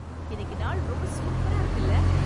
இன்னிக்கு நாள் ரொம்ப சூப்பரா இருக்குல!